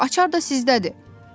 Açar da sizdədir.